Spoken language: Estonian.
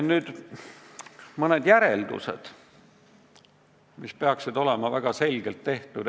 Nüüd mõned järeldused, mis peaksid olema väga selgelt tehtud.